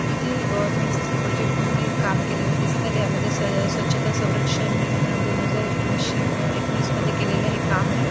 इथे गवर्नमेंट च प्रोजेक्ट ने काम केलेल दिसत आहे त्या मध्ये स्वच्छता सौरक्षण दोन हजार एकोणीशे एकोणीस मध्ये केलेल हे काम आहे.